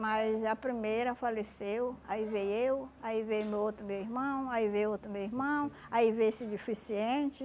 Mas a primeira faleceu, aí veio eu, aí veio meu outro meu irmão, aí veio outro meu irmão, aí veio esse deficiente.